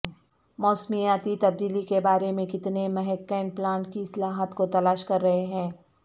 موسمیاتی تبدیلی کے بارے میں کتنے محققین پلانٹ کی اصلاحات کو تلاش کر رہے ہیں